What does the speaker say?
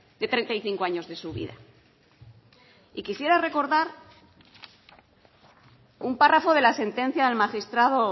de treinta y cinco años de su vida y quisiera recordar un párrafo de la sentencia del magistrado